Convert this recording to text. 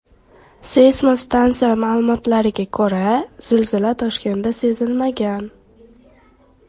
Seysmostansiya ma’lumotlariga ko‘ra, zilzila Toshkentda sezilmagan.